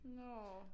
Nårh